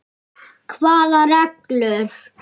Hvaða reglur?